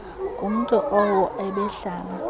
ngumntu owo ebehlala